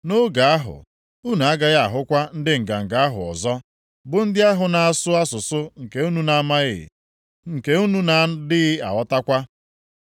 Nʼoge ahụ, unu agaghị ahụkwa ndị nganga ahụ ọzọ, bụ ndị ahụ na-asụ asụsụ nke unu na-amaghị, nke unu na-adịghị aghọtakwa.